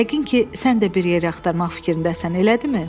Yəqin ki, sən də bir yer axtarmaq fikrindəsən, elədimi?